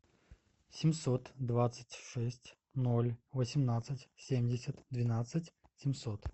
семьсот двадцать шесть ноль восемнадцать семьдесят двенадцать семьсот